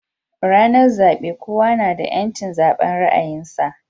Ranar zabe kowa nada yanci zaban ra'ayin sa